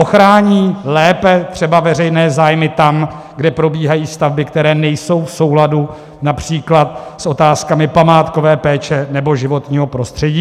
Ochrání lépe třeba veřejné zájmy tam, kde probíhají stavby, které nejsou v souladu například s otázkami památkové péče nebo životního prostředí?